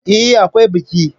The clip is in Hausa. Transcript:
Eh, akwai biki.